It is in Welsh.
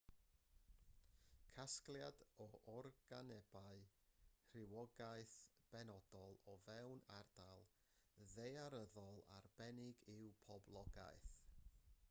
casgliad o organebau rhywogaeth benodol o fewn ardal ddaearyddol arbennig yw poblogaeth